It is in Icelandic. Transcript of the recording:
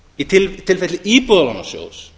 í tilfelli íbúðalánasjóðs